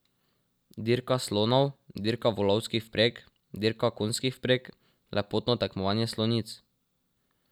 Dirka slonov, dirka volovskih vpreg, dirka konjskih vpreg, lepotno tekmovanje slonic ...